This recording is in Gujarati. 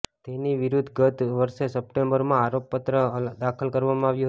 તેની વિરદ્ધ ગત્ત વર્ષે સપ્ટેમ્બરમાં આરોપપત્ર દાખલ કરવામાં આવ્યું હતું